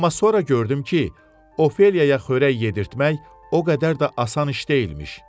Amma sonra gördüm ki, Ofeliyaya xörək yedirtmək o qədər də asan iş deyilmiş.